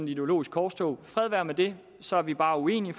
ideologisk korstog fred være med det så er vi bare uenige